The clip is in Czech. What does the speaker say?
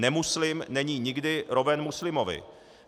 Nemuslim není nikdy roven muslimovi.